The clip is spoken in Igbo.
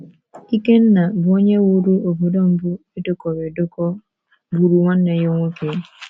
Ikenna, bụ́ onye wuru obodo mbụ e dekọrọ edekọ, gburu nwanne ya nwoke.